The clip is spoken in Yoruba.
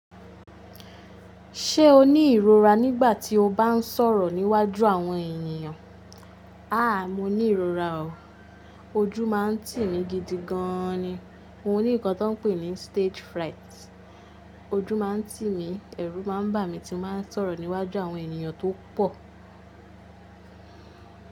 Ṣé o ní ìrora nígbà tí o bá ń sọ̀rọ̀ níwájú àwọn ènìyàn? Áà, mo ní ìrora o. Ojú máa ń tì mí gidi gan ni. Mo ní nǹkan tọ́ ń pè ní stage fright. Ojú máa ń tì mí, ẹ̀rù máa ń bà mí tí mo bá ń sọ̀rọ̀ níwájú àwọn ènìyàn tó pọ̀.